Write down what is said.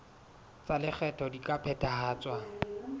tsa lekgetho di ka phethahatswa